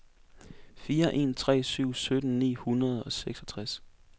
fire en tre syv sytten ni hundrede og seksogtres